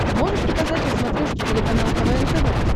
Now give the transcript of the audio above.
можешь показать на смотрешке телеканал квн тв